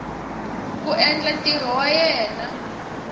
ku endla ntirho wa yena